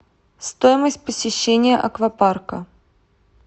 стоимость посещения аквапарка